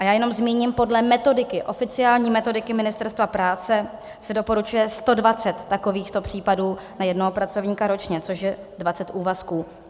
A já jenom zmíním, podle metodiky, oficiální metodiky Ministerstva práce, se doporučuje 120 takových případů na jednoho pracovníka ročně, což je 20 úvazků.